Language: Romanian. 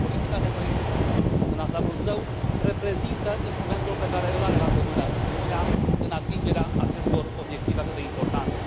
Politica de coeziune, în ansamblul său, reprezintă instrumentul pe care îl are la îndemână Uniunea în atingerea acestor obiective atât de importante.